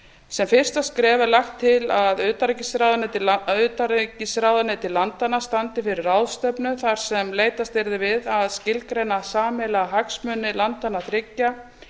sem fyrsta skref er lagt til að utanríkisráðuneyti landanna standi fyrir ráðstefnu þar sem leitast yrði við að skilgreina sameiginlega hagsmuni landanna þriggja